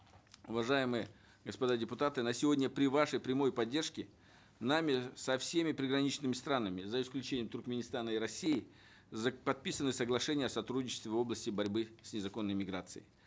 уважаемые господа депутаты на сегодня при вашей прямой поддержке нами со всеми приграничными странами за исключением туркменистана и россии подписаны соглашения о сотрудничестве в области борьбы с незаконной эмиграцией